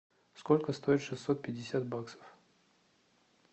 сколько стоит шестьсот пятьдесят баксов